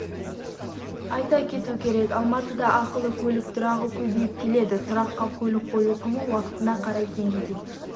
айта кету керек алматыда ақылы көлік тұрағы көбейіп келеді тұраққа көлік қою құны уақытына қарай теңгеден